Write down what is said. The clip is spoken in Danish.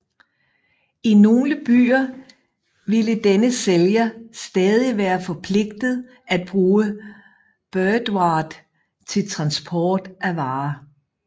I nogle byer ville denne sælger stadig være forpligtet at bruge beurtvaart til transport af varer